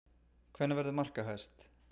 Hver verður markahæst?